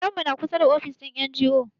Gidan mu na kusa da wani ofis na NGO.